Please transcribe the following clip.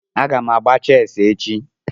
Aga m agba chessi echi